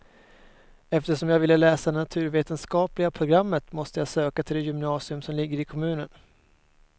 Eftersom jag ville läsa naturvetenskapliga programmet måste jag söka till det gymnasium som ligger i kommunen.